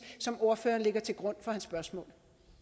som ordføreren lægger til grund for sit spørgsmål